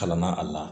Kalan na a la